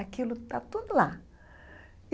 Aquilo está tudo lá.